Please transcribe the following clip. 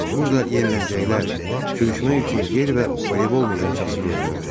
Burada yerlənəcəklər, sürüşmək üçün yer və voleybol meydançası görünürdü.